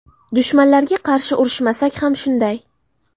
Dushmanlarga qarshi urishmasak ham shunday.